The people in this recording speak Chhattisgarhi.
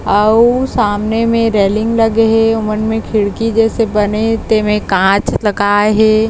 आऊ सामने में रेलिंग लगे हे ओ मन म खिड़की जैसे बने हे ते में कांच लगाए हे।